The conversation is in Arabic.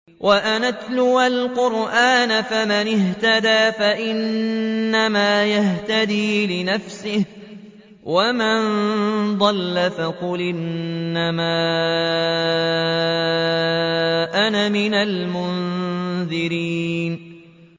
وَأَنْ أَتْلُوَ الْقُرْآنَ ۖ فَمَنِ اهْتَدَىٰ فَإِنَّمَا يَهْتَدِي لِنَفْسِهِ ۖ وَمَن ضَلَّ فَقُلْ إِنَّمَا أَنَا مِنَ الْمُنذِرِينَ